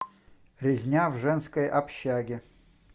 резня в женской общаге